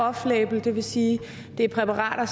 off label det vil sige at det er præparater